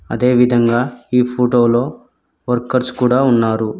అదే విధంగా ఈ ఫోటో లో వర్కర్స్ కూడా ఉన్నారు.